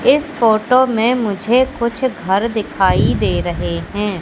इस फोटो में मुझे कुछ घर दिखाई दे रहें हैं।